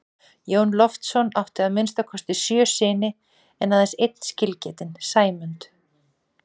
Jón Loftsson átti að minnsta kosti sjö syni en aðeins einn skilgetinn, Sæmund.